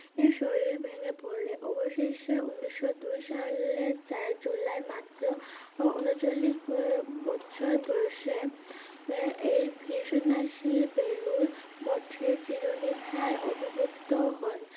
শরীর ভেঙেপড়লে অবশেষে উন্নিশশোদুই সালে চার july মাত্র উনচল্লিশ বো~বছর বয়সে এ~এই ভিশন্যাসী বেলুড়মঠে চিরনিদ্রায় অধীভূত হন